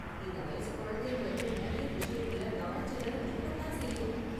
இந்த வயசு குழந்தைங்களுக்கு நிறைய விஷயத்துல கவனச்சிதறல் இருக்க தான் செய்யும்.